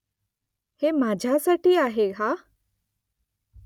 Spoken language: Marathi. हे माझ्यासाठी आहे हा ?